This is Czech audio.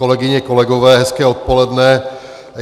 Kolegyně, kolegové, hezké odpoledne.